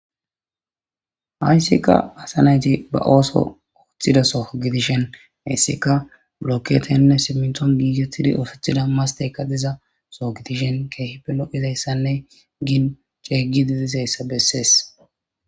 hayssika asanayti ba ooso ooththida soo gidishen hissika blokketenne simiton giigetidi ofethida masteyka diza soo gidishen keehi pelo izayssanne gin ceeygi didizayssa bessees